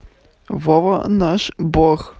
вова наш бог